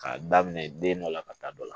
K'a daminɛ den dɔ la ka taa dɔ la